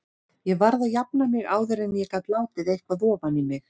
Ég varð að jafna mig áður en ég gat látið eitthvað ofan í mig.